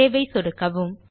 save ஐ சொடுக்கவும்